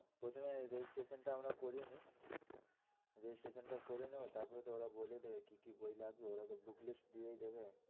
প্রথমে registration টা আমরা করিয়ে নি registration টা করে নাও করে নাও তারপরে ওরা বলেই দেবে কি কি বই লাগবে ওরা তো booklist দিয়েই দেবে।